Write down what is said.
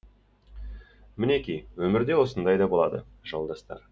мінеки өмірде осындай да болады жолдастар